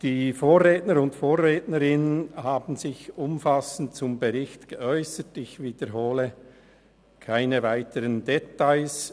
Die Vorrednerinnen und Vorredner haben sich umfassend zum Bericht geäussert, ich wiederhole keine weiteren Details.